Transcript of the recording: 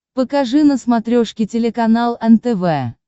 покажи на смотрешке телеканал нтв